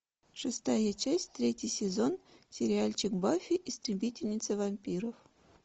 шестая часть третий сезон сериальчик баффи истребительница вампиров